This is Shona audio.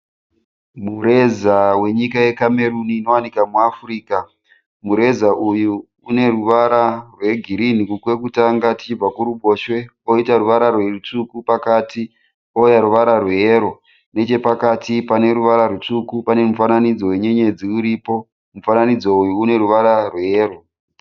Mureza wenyika yenyika yeCameroon inowanika muAfrica. Mureza uyu une ruvara rweginhi kwekutanga tichibva kurubhoswe poita ruvara rutsvuku pakati pouya ruvara rweyero. Nechepakati pane ruvara rutsvuku pane mufananidzo wenyenyedzi uripo. Mufananidzo uyu une ruvara rweyero.